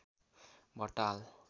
भट्ट हाल